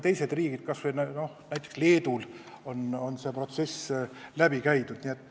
Teistes riikides, kas või näiteks Leedus on see protsess läbi tehtud.